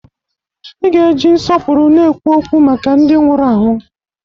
I ga-eji nsọpụrụ na-ekwu okwu maka ndị nwụrụ anwụ!